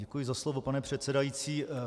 Děkuji za slovo, pane předsedající.